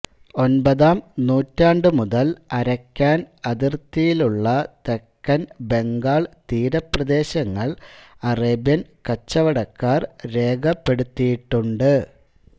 ഒൻപതാം നൂറ്റാണ്ടു മുതൽ അരക്കാൻ അതിർത്തിയിലുള്ള തെക്കൻ ബംഗാൾ തീരപ്രദേശങ്ങൾ അറേബ്യൻ കച്ചവടക്കാർ രേഖപ്പെടുത്തിയിട്ടുണ്ട്